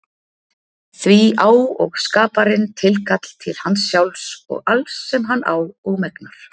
Því á og skaparinn tilkall til hans sjálfs og alls sem hann á og megnar.